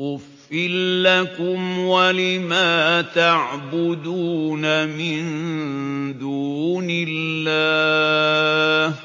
أُفٍّ لَّكُمْ وَلِمَا تَعْبُدُونَ مِن دُونِ اللَّهِ ۖ